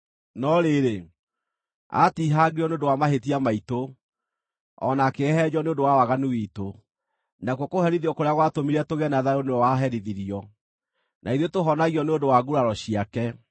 No rĩrĩ, aatihangirio nĩ ũndũ wa mahĩtia maitũ, o na akĩhehenjwo nĩ ũndũ wa waganu witũ; nakuo kũherithio kũrĩa gwatũmire tũgĩe na thayũ nĩwe waherithirio, na ithuĩ tũhonagio nĩ ũndũ wa nguraro ciake.